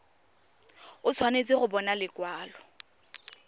o tshwanetse go bona lekwalo